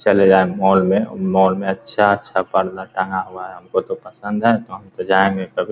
चले जाएँ मॉल में मॉल में अच्छा-अच्छा पर्दा टंगा हुआ है हमको तो पसंद है तो हम तो जाएंगे कभी ।